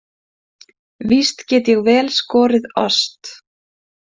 Víst get ég vel skorið ost.